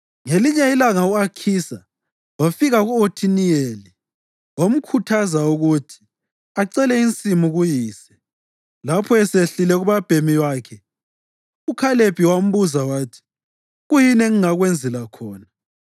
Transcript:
Ngelinye ilanga u-Akhisa wafika ku-Othiniyeli wamkhuthaza ukuthi acele insimu kuyise. Lapho esehlile kubabhemi wakhe uKhalebi wambuza wathi, “Kuyini engingakwenzela khona?”